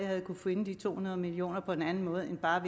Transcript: have kunnet finde de to hundrede million kroner på en anden måde end ved bare at